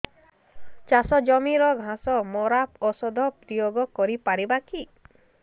ଚାଷ ଜମିରେ ଘାସ ମରା ଔଷଧ ପ୍ରୟୋଗ କରି ପାରିବା କି